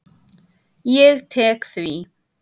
Ég tek því.